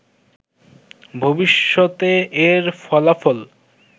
ভবিষ্যতে এর ফলাফল